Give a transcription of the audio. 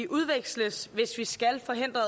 udveksles hvis vi skal forhindre